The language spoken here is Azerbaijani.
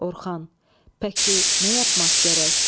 Orxan: Pəki nə yapmaq gərək?